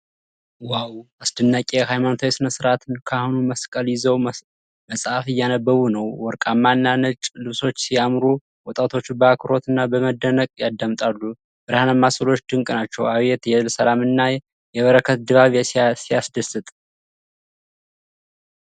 ዋው! አስደናቂ ሃይማኖታዊ ስነስርአት። ካህኑ መስቀል ይዘው መፅሐፍ እያነበቡ ነው። ወርቃማ እና ነጭ ልብሶች ሲያምሩ! ወጣቶቹ በአክብሮትና በመደነቅ ያዳምጣሉ። ብርሃናማ ሥዕሎች ድንቅ ናቸው። አቤት የሰላም እና የበረከት ድባብ! ሲያስደስት!